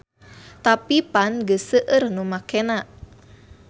Tapi pan geus seueur nu makena.